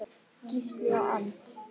Gísli og Anna.